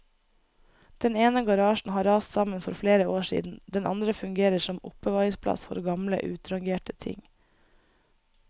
Den ene garasjen har rast sammen for flere år siden, den andre fungerer som oppbevaringsplass for gamle utrangerte ting.